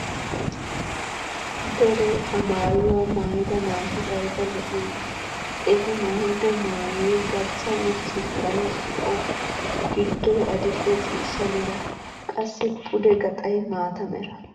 Deree ha maayuwaa maayida naati ayba lo"iyoonaa! eti maayido maayoy garssa wurssettaara zo'o, giddoy adil'e ciishsha mera, qassi pude gaxay maata mera.